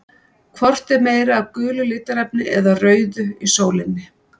Hvort er meira af gulu litarefni eða rauðu í sólinni?